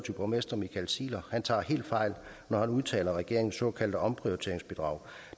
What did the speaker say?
borgmester michael ziegler tager helt fejl når han udtaler at regeringens såkaldte omprioriteringsbidrag